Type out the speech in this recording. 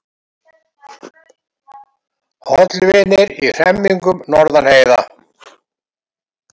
Hollvinir í hremmingum norðan heiða